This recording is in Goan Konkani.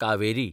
कावेरी